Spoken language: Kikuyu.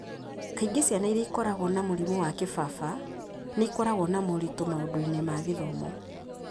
Kaingĩ ciana iria ikoragwo na mũrimũ wa kĩbaba nĩ ikoragwo na moritũ maũndũ-inĩ ma gĩthomo